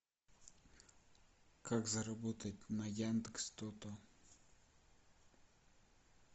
как заработать на яндекс тото